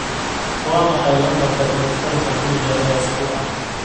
waa maxay lambarka taleefanka guriga ee usbuuca